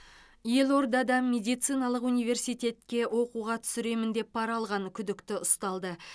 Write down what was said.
елордада медициналық университетке оқуға түсіремін деп пара алған күдікті ұсталды